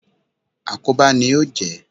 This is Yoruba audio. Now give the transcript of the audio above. Àkóbá ni ó jẹ́.